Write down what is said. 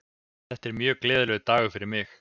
Þetta er mjög gleðilegur dagur fyrir mig.